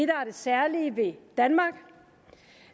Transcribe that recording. særlige ved danmark